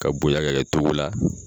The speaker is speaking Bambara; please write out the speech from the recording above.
Ka bonya ka kɛ togo la